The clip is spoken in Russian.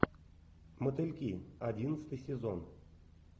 мотыльки одиннадцатый сезон